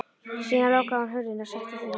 Síðan lokaði hún hurðinni og settist á rúmið.